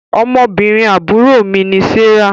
Ọmọbìnrin àbúrò mí ni Serah